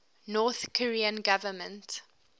north korean government